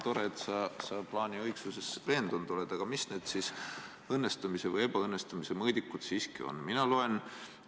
Tore, et sa plaani õigsuses veendunud oled, aga mis need õnnestumise või ebaõnnestumise mõõdikud siiski on?